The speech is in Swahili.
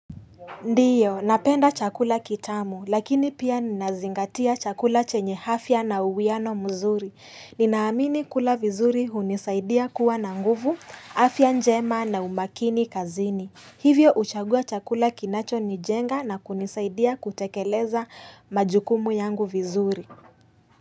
Ndio, napenda chakula kitamu, lakini pia ninazingatia chakula chenye afya na uwiano mzuri. Ninaamini kula vizuri hunisaidia kuwa na nguvu, afya njema na umakini kazini. Hivyo huchagua chakula kinacho nijenga na kunisaidia kutekeleza majukumu yangu vizuri.